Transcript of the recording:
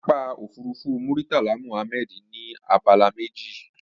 Pápákọ̀ òfurufú Murtala Muhammed ní abala méjì